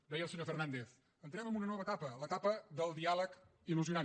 deia el senyor fernández entrem en una nova etapa l’etapa del diàleg il·lusionant